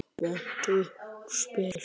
Vont útspil.